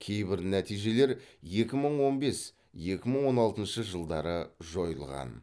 кейбір нәтижелер екі мың он бес екі мың он алтыншы жылдары жойылған